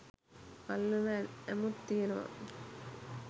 අල්ලන ඇමුත් තියෙනවා.